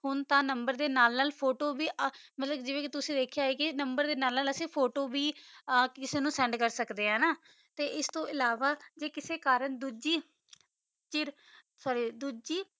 ਹੁਣ ਤਾ ਨੰਬਰ ਦਾ ਨਾਲ ਨਾਲ ਫੋਟੋ ਬੇ ਆ ਜਿਡਾ ਕਾ ਤੁਸੀਂ ਕਿਸਾ ਨੂ ਸੇੰਡ ਕਰ ਕਰ ਸਕਦਾ ਆ ਤਾ ਓਸ ਦਾ ਨਾਲ ਨਾਲ ਡੋਜੀ ਕਿਸਾ ਕਰਨ ਡੋਜੀ